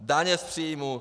Daně z příjmů...